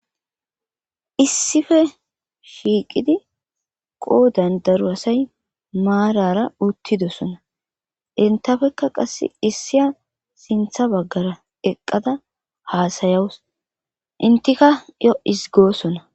issife shiiqidi qoo dandaru asay maarara uttidosona intafekka qass issiya sintha baggara eqqada haasayawus intika yo isigoosona